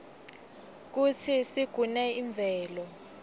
kutsi sigune imvelo